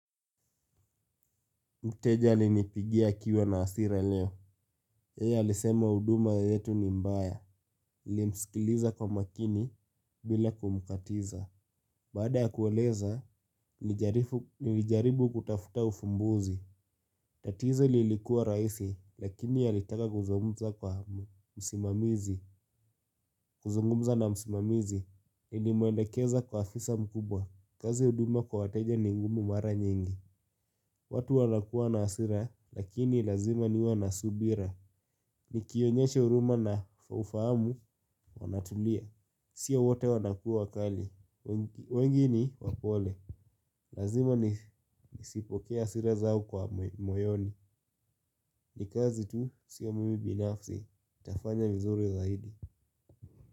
Mteja alinipigia akiwa na hasira leo. Yeye alisema huduma yetu ni mbaya. Nilimsikiliza kwa makini bila kumkatiza. Baada kueleza, nilijaribu kutafuta ufumbuzi. Tatizo lilikua rahisi lakini alitaka kuzungumza kwa msimamizi. Kuzungumza na msimamizi. Nilimwelekeza kwa afisa mkubwa. Kazi huduma kwa wateja ni ngumu mara nyingi. Watu wanakuwa na hasira lakini lazima niwe na subira. Nikionyesha huruma na ufahamu wanatulia. Sio wote wanakuwa wakali. Wengi ni wapole. Lazima nisipokee hasira zao kwa moyoni. Ni kazi tu sio mimi binafsi nitafanya vizuri zaidi.